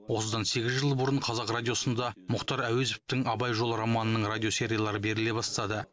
осыдан сегіз жыл бұрын қазақ радиосында мұхтар әуезовтің абай жолы романының радиосериялары беріле бастады